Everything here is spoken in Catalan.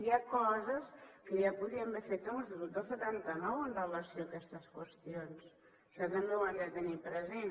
hi ha coses que ja podíem haver fet amb l’estatut del setanta nou amb relació a aquestes qüestions això també ho han de tenir present